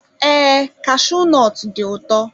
Ee kashuu nọt dị ụtọ.